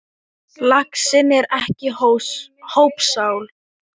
Laxinn er ekki hópsál.